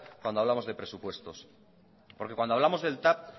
cuando hablamos de presupuestos porque cuando hablamos del tav